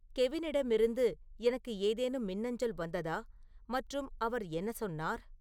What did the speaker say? கெவினிடமிருந்து எனக்கு ஏதேனும் மின்னஞ்சல் வந்ததா மற்றும் அவர் என்ன சொன்னார்